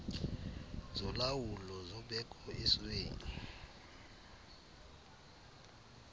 zolawulo zobeko esweni